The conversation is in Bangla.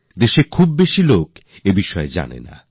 দেশের অধিকাংশ মানুষ এই বিষয়ে জানেন না